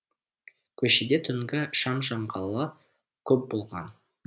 көшеде түнгі шам жаңғалы көп болған